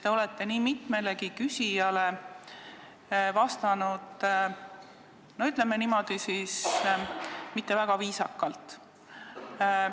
Te olete nii mitmele küsijale vastanud, ütleme niimoodi, mitte väga viisakalt.